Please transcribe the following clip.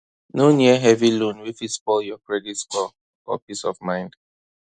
no near heavy loan wey fit spoil your credit score or peace of mind